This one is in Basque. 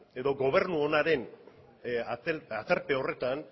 edo gobernu onaren aterpe horretan